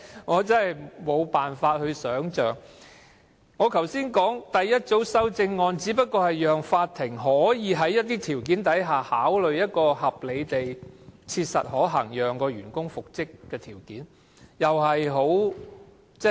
我剛才說的第一組修正案，只不過是讓法庭可以在某些情況下，考慮一個合理地切實可行的條件，讓員工復職。